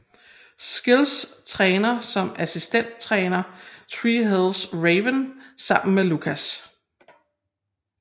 Skills træner som assistenttræner Tree Hill Ravens sammen med Lucas